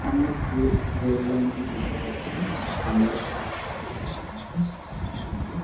আমরা যে rail line - টি দেখতে পারছি সামনে সম্ভবত একটা স্টেশন সাব স্টেশন হবে |